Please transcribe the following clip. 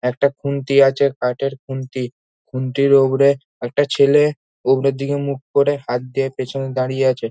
একটা খুন্তি আছে কাঠের খুন্তিখুন্তির ওপরে একটা ছেলে উপরের দিকে মুখ করে হাত দিয়ে পেছনে দাঁড়িয়ে আছে।